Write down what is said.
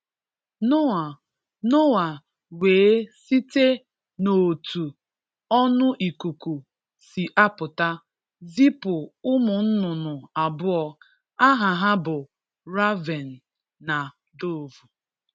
Noah Noah wee site n’òtù ọnụ ìkùkù si apụta, zipu ụmụ nnụnnụ abụọ, aha ha bụ Raven na Dovu.